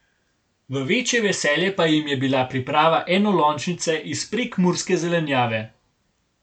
V večje veselje pa jim je bila priprava enolončnice iz prekmurske zelenjave.